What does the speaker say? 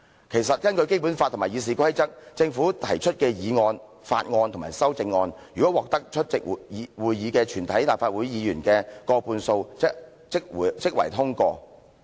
其實根據《基本法》及《議事規則》，政府提出的議案、法案及修正案，如果獲得出席會議的立法會議員的過半數支持即會通過。